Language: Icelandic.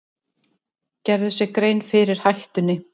Gerðu sér grein fyrir hættunni